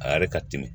A yɛrɛ ka timi